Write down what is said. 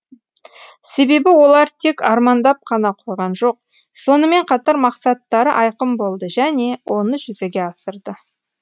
себебі олар тек армандап қана қойған жоқ сонымен қатар мақсаттары айқын болды және оны жүзеге асырды